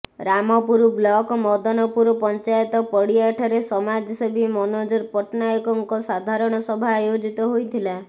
Rampur block Madanpur panchayat ପଡିଆଠାରେ ସମାଜସେବୀ ମନୋଜ ପଟ୍ଟନାୟକଙ୍କ ସାଧାରଣ ସଭା ଆୟୋଜିତ ହୋଇଥିଲା